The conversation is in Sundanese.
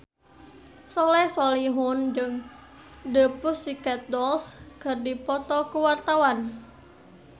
Soleh Solihun jeung The Pussycat Dolls keur dipoto ku wartawan